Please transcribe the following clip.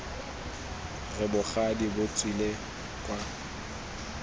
re bogadi bo tswele kwa